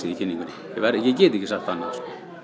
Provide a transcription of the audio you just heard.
kynningunni ég get ekki sagt annað